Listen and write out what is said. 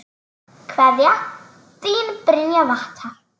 Kveðja, þín Brynja Vattar.